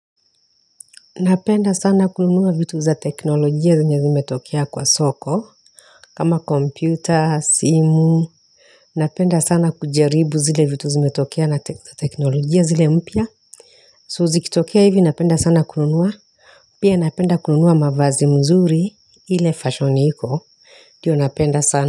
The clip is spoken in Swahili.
Napenda sana kununua vitu za teknolojia zenye zimetokea kwa soko, kama kompyuta, simu. Napenda sana kujaribu zile vitu zimetokea na teknolojia zile mpya. So zikitokea hivi napenda sana kununua. Pia napenda kununua mavazi mzuri ile fashion iko. Ndio napenda sana.